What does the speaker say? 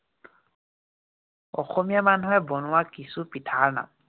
অসমীয়া মানুহে বনোৱা কিছু পিঠাৰ নাম।